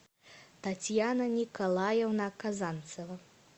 татьяна николаевна казанцева